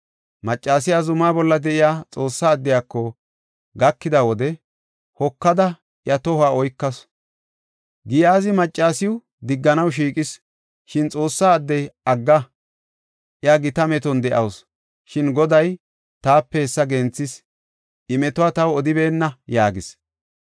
Maccasiya zumaa bolla de7iya Xoossaa addiyako gakida wode, hokada iya tohuwa oykasu. Giyaazi maccasiw digganaw shiiqis; shin Xoossa addey, “Agga! iya gita meton de7awusu; shin Goday taape hessa genthis. I metuwa taw odibeenna” yaagis.